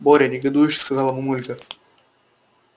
боря негодующе сказала мамулька